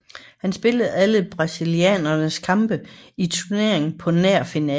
Han spillede alle brasilianernes kampe i turneringen på nær finalen